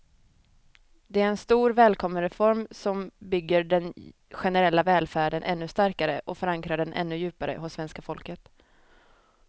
Det är en stor, välkommen reform som bygger den generella välfärden ännu starkare och förankrar den ännu djupare hos svenska folket.